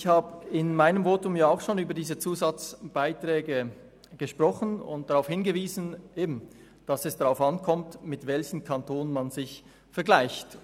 Ich habe in meinem ersten Votum auch schon über diese Zusatzbeiträge gesprochen und darauf hingewiesen, dass es darauf ankommt, mit welchem Kanton man sich vergleicht.